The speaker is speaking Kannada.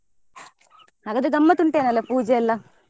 ಹಾಗದ್ರೆ ಗಮ್ಮತ್ ಉಂಟು ಏನೋ ಅಲ್ಲ ಪೂಜೆ ಎಲ್ಲ?